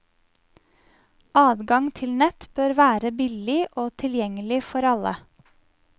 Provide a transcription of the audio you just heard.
Adgang til nett bør være billig og tilgjengelig for alle.